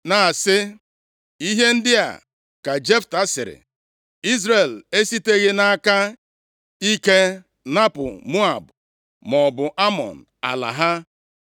na-asị, “Ihe ndị a ka Jefta sịrị: Izrel esiteghị nʼaka ike napụ Moab maọbụ Amọn ala ha. + 11:15 \+xt Dit 2:9,19\+xt*